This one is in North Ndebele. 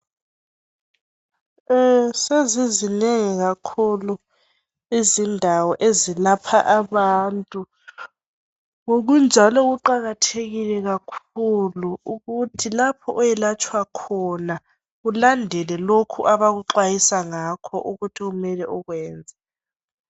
Sezizinengi kakhulu izindawo ezilapha abantu. Ngokunjalo kuqakathekile kakhulu ukuthi lapho oyelatshwa khona ulandele lokho abakuxwayisa ngakho ukuthi kumele ukwenze.